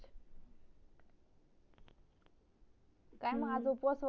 काय मग आज उपवास